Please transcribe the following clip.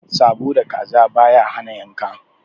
Sabo da kaza baya hana yanka.